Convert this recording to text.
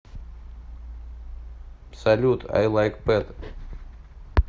салют ай лайк пэт